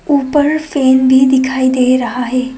उपर फैन भी दिखाई दे रहा है।